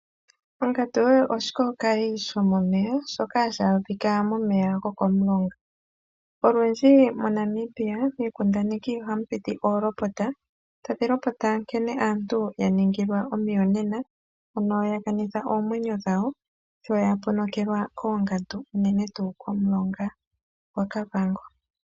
Ongandu oshikookayi shomomeya shoka hashi adhika momeya gokomulonga. Olundji miikundaneki yaNamibia oolopota nkene aantu yaningilwa omuyonena shoya ponokelwa koongandu unene tuu komulonga gwaKavango.